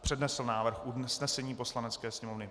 přednesl návrh usnesení Poslanecké sněmovny.